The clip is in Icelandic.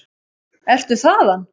Ertu þaðan?